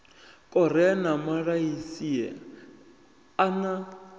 korea na malaysia a na